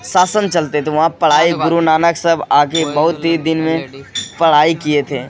शासन चलते तो वहाँ पढ़ाई गुरु नानक सब आ के बहुत ही दिन में पढ़ाई किए थे।